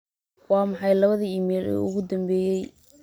Waa maxay labada iimayl ee ugu dambeeyay